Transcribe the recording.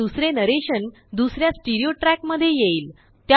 हे दुसरे नरेशन दुसऱ्यास्टीरिओट्रैक मध्ये येईल